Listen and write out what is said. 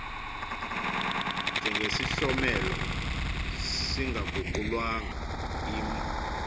njengesihlomelo singaguqulwanga imo